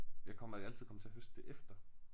Jeg kommer er altid kommet til at høste det efter